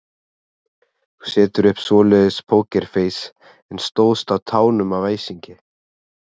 Þú settir upp svoleiðis pókerfeis en stóðst á tánum af æsingi.